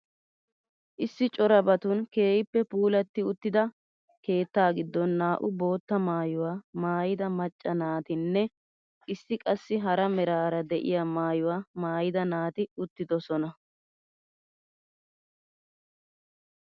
Issi corabatun keehippe puulatti uttida keettaa giddon naa"u bootta maayuwaa maayida macca naatinne issi qassi hara meraara de'iyaa maayuwaa maayida naati uttidosona.